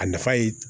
A nafa ye